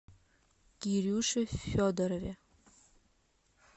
кирюше федорове